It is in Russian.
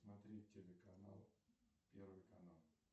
смотреть телеканал первый канал